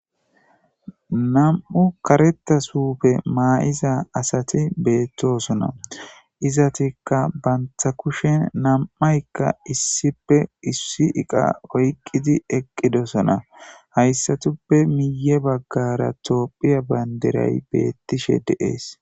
Nam'u kareta suufe maa'iza asati beettosona izatikka bantha kushen nam'aykka issipe issi iqa oyqqidi eqqidosona hayssatuppe miye baggara toophiya banderay beettishe deees.